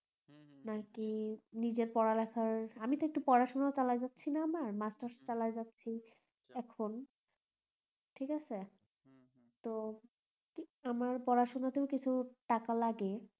নাকি নিজের পড়া লেখার একটু পড়া শোনা পালা যাচ্ছি এখন তো আমার পড়া শোনা তেও কিছু টাকা লাগে